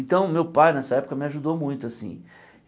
Então, meu pai, nessa época, me ajudou muito assim.